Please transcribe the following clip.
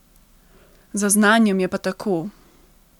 Z znanjem je pa tako ...